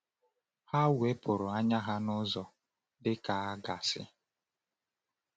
Ha wepụrụ anya ha n’ụzọ, dị ka a ga-asị.